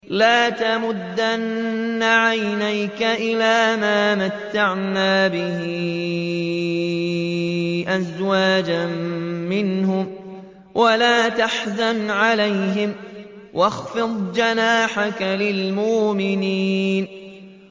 لَا تَمُدَّنَّ عَيْنَيْكَ إِلَىٰ مَا مَتَّعْنَا بِهِ أَزْوَاجًا مِّنْهُمْ وَلَا تَحْزَنْ عَلَيْهِمْ وَاخْفِضْ جَنَاحَكَ لِلْمُؤْمِنِينَ